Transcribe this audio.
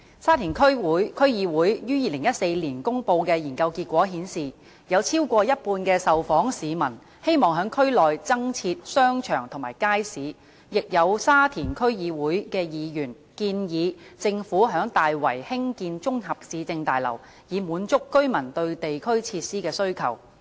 沙田區議會於2014年公布的研究結果顯示，有超過一半的受訪市民希望區內增設商場及街市，亦有沙田區議會議員建議政府於大圍興建綜合市政大樓，以滿足居民對地區設施的需求。